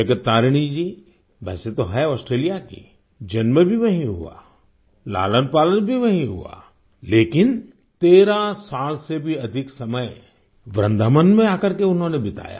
जगत तारिणी जी वैसे तो हैं ऑस्ट्रेलिया की जन्म भी वहीं हुआ लालनपालन भी वहीँ हुआ लेकिन 13 साल से भी अधिक समय वृन्दावन में आकर के उन्होंने बिताया